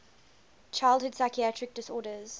childhood psychiatric disorders